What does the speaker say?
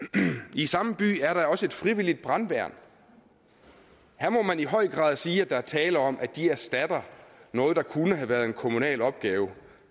i samme by er der også et frivilligt brandværn her må man i høj grad sige at der er tale om at de erstatter noget der kunne have været en kommunal opgave